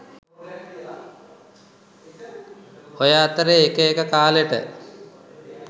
ඔය අතරේ එක එක කාලෙට